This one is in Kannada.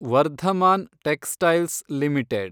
Varthaman textiles limited